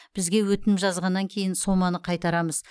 бізге өтінім жазғаннан кейін соманы қайтарамыз